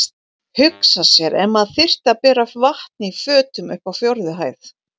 Hugsa sér ef maður þyrfti að bera vatn í fötum upp á fjórðu hæð!